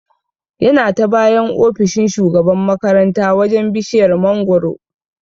Yana ta bayan ofishin shugaban makaranta wajan bishiyar mangoro